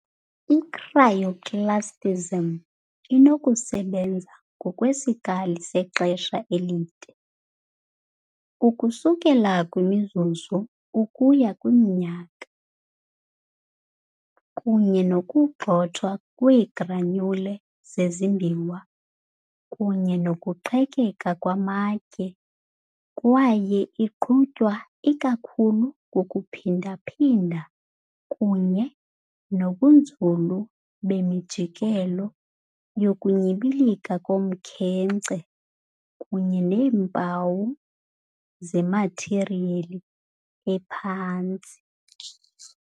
I-Cryoclastism inokusebenza ngokwesikali sexesha elide, ukusuka kwimizuzu ukuya kwiminyaka, kunye nokugxothwa kweegranule zezimbiwa kunye nokuqhekeka kwamatye kwaye iqhutywa ikakhulu kukuphindaphinda kunye nobunzulu bemijikelo yokunyibilika komkhenkce kunye neempawu zemathiriyeli ephantsi.